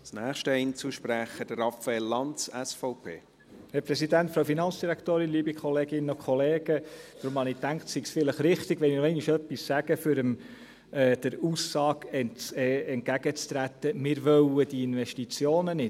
Darum habe ich gedacht, es sei richtig, wenn ich vielleicht nochmals etwas sage, um der Aussage entgegenzutreten, wir wollten diese Investitionen nicht.